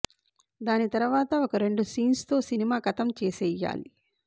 దాని తర్వాత ఒక రెండు సీన్స్ తో సినిమా కతం చేసెయ్యాలి